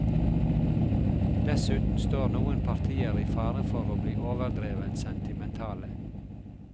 Dessuten står noen partier i fare for å bli overdrevent sentimentale.